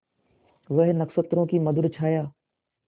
वह नक्षत्रों की मधुर छाया